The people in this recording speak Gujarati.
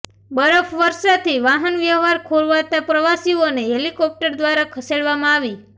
બરફ વર્ષાથી વાહન વ્યવહાર ખોરવાતા પ્રવાસીઓને હેલિકોપ્ટર દ્વારા ખસેડવામાં આવી